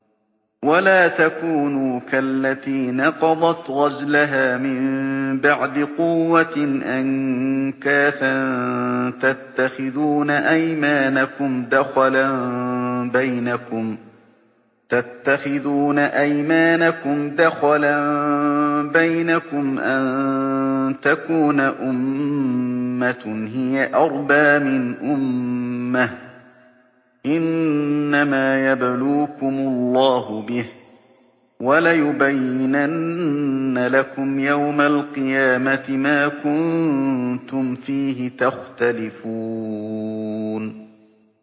وَلَا تَكُونُوا كَالَّتِي نَقَضَتْ غَزْلَهَا مِن بَعْدِ قُوَّةٍ أَنكَاثًا تَتَّخِذُونَ أَيْمَانَكُمْ دَخَلًا بَيْنَكُمْ أَن تَكُونَ أُمَّةٌ هِيَ أَرْبَىٰ مِنْ أُمَّةٍ ۚ إِنَّمَا يَبْلُوكُمُ اللَّهُ بِهِ ۚ وَلَيُبَيِّنَنَّ لَكُمْ يَوْمَ الْقِيَامَةِ مَا كُنتُمْ فِيهِ تَخْتَلِفُونَ